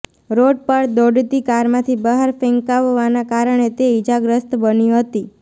road પર દોડતી કારમાંથી બહાર ફેંકાવવાના કારણે તે ઇજાગ્રસ્ત બની હતી